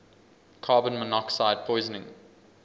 carbon monoxide poisoning